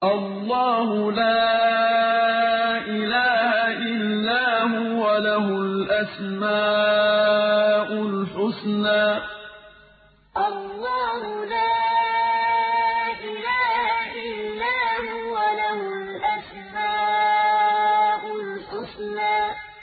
اللَّهُ لَا إِلَٰهَ إِلَّا هُوَ ۖ لَهُ الْأَسْمَاءُ الْحُسْنَىٰ اللَّهُ لَا إِلَٰهَ إِلَّا هُوَ ۖ لَهُ الْأَسْمَاءُ الْحُسْنَىٰ